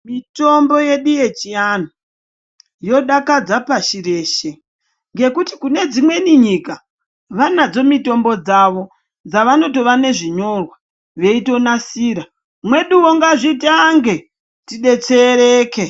Mitombo yedu yechiantu yodakadza pashi reshe ngekuti kunedzimwei nyika vanadzo mitombo dzavo dzavanotova nezvinyorwa veitonasira mweduwo ngazvitange tidetsereke.